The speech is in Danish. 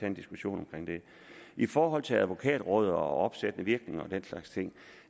en diskussion om det i forhold til advokatrådet og opsættende virkning og den slags ting